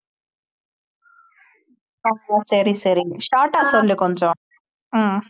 சரி சரி short ஆ சொல்லு கொஞ்சம் ஹம்